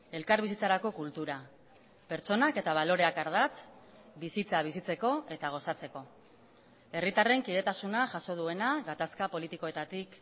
elkarbizitzarako kultura pertsonak eta baloreak ardatz bizitza bizitzeko eta gozatzeko herritarren kidetasuna jaso duena gatazka politikoetatik